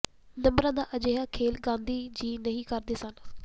ਨੰਬਰਾਂ ਦਾ ਅਜਿਹਾ ਖੇਲ ਗਾਂਧੀ ਜੀ ਨਹੀਂ ਕਰਦੇ ਸਨ